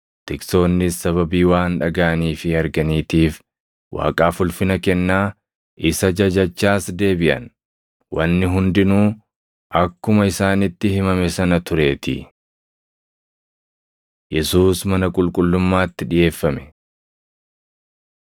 Tiksoonnis sababii waan dhagaʼanii fi arganiitiif Waaqaaf ulfina kennaa, isa jajachaas deebiʼan; wanni hundinuu akkuma isaanitti himame sana tureetii. Yesuus Mana Qulqullummaatti Dhiʼeeffame